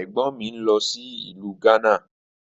Ẹ̀gbọ́n mi ń lọ sí ìlú Gánà